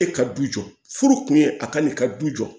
E ka du jɔ furu kun ye a ka n'i ka du jɔ